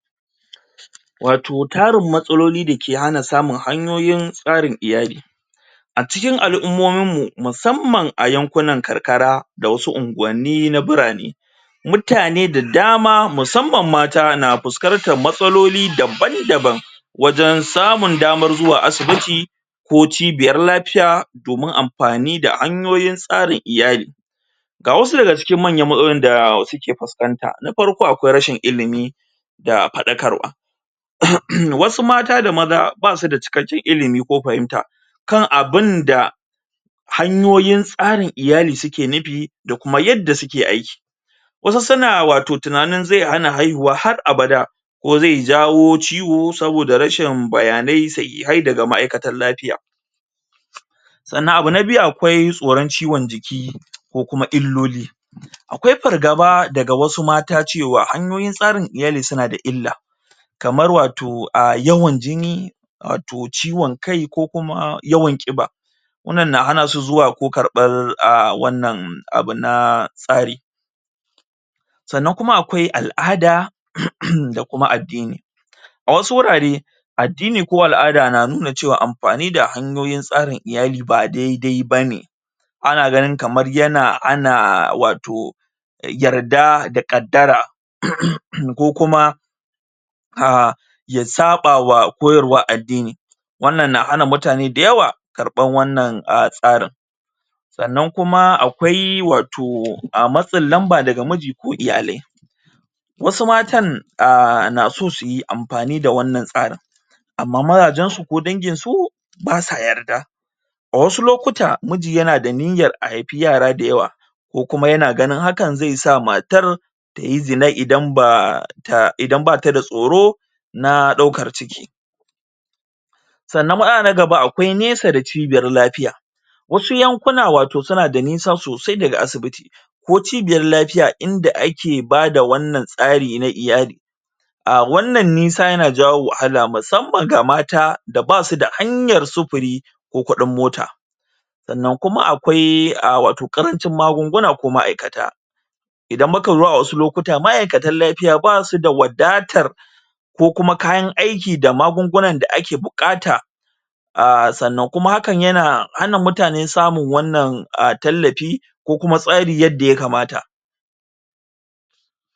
Wato tarin matsalolin da ke hana samun hanyoyin tsarin iyali a cikin al'ummomin mu musamman a yankunan karkara da wasu unguwanni da burane mutane da damma musamman mata na fuskantar matsaloli daban daban wajen samun damar zuwa asibiti ko cibiyar lafiya domin amfani da hanyoyin tsarin iyali ga wasu daga cikin manyan matsalolin da suke fuskanta na farko akwai ƙarancin ilimi da faɗakarwa wasu mata da maza ba su da cikakken ilimi ko fahimta kan abin da hanyoyin tsarin iyali suke nufi da kuma yadda suke aiki wasu suna wato tunanin zai hana haihuwa har abada ko zai jawo ciwo ko saboda rashin bayanai sahihai daga ma'aikatan lafiya sannan abu na biyu akwai tsoron ciwon jiki ko kuma illloli akwai fargaba daga wasu mata cewa hanyoyin tsarin iyali suna da yawa kamar wato um yawan jini wato ciwon kai ko kuma yawan ƙiba wannan na hana su zuwa ko karɓan aaa wannan abu na tsari sannan kuma akwai al'ada da kuma addini a wasu wurare addini ko al'ada na nuna cewa amfani da tsarin iyali ba daidai bane ana ganin kamar yana hana wato yarda da ƙaddara um ko kuma um ya saɓa wa koyarwan addidni wannan na hana mutane da yawa karɓan wannan tsarin sannan kuma akwai wato matsin lamba daga miji ko iiyali wasu matan na son suyi amfani da wannan tsarin amma mazajen su ko dangin su ba sa yarda a wasu lokuta miji yana da niyyar a haifi yara da yawa ko kuma yana ganin hakan zai sa matar tayi zina idan ba ta da tsoro na ɗaukar ciki sannan matsala na gaba akwai nesa da cibiyar lafiya wasu yankuna wato suna da nisa sosai daga asibiti ko cibiyar lafiya inda ake bada wannan tsari na iyali a wannan nisa yana jawo wahala musamman ga mata da ba su da hanyar sufuri ko kuɗin mota sannan kuma akwai wato ƙarancin magunguna ko ma'aikata idan mukazo a wasu lokuta ma'aikatan lafiya ba su da wadatar ko kuma kayan aikin da magungunan da ake buƙata a sannan kuma hakan yana hana mutane samun wannan a tallafi ko kuma tsari yadda ya kamata